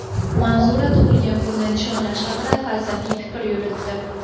Manzura tug‘ilgan kunni nishonlash haqida falsafiy fikr yuritdi.